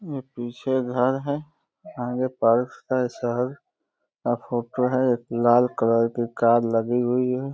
ये पीछे घर है यहाँ वो टाइल्स हैं शायद यहाँ फोटो है लाल कलर की कार लगी हुई है।